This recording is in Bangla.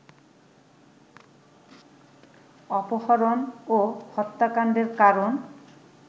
অপহরণ ও হত্যাকাণ্ডের কারণ